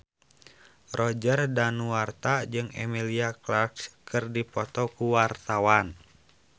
Roger Danuarta jeung Emilia Clarke keur dipoto ku wartawan